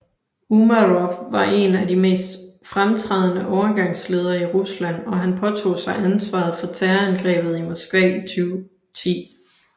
Umarov var en af de mest fremtrædende overgangsledere i Rusland og han påtog sig ansvaret for Terrorangrebet i Moskva 2010